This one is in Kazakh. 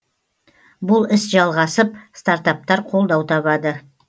бұл іс жалғасып стартаптар қолдау табады